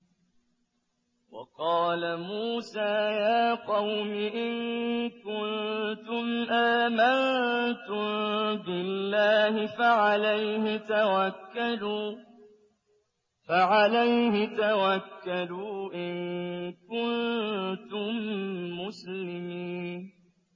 وَقَالَ مُوسَىٰ يَا قَوْمِ إِن كُنتُمْ آمَنتُم بِاللَّهِ فَعَلَيْهِ تَوَكَّلُوا إِن كُنتُم مُّسْلِمِينَ